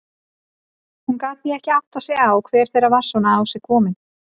Hún gat því ekki áttað sig á hver þeirra var svona á sig komin.